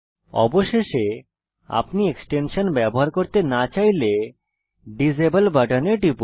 অবশেষে আপনি এক্সটেনশান ব্যবহার করতে না চাইলে ডিসেবল বাটনে টিপুন